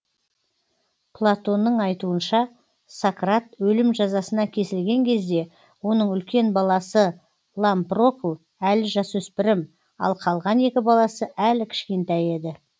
платонның айтуынша сократ өлім жазасына кесілген кезде оның үлкен баласы лампрокл әлі жасөспірім ал қалған екі баласы әлі кішкентай еді